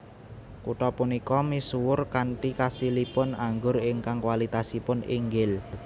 Kutha punika misuwur kanthi kasilipun anggur ingkang kualitasipun inggil